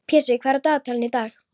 Pési, hvað er á dagatalinu í dag?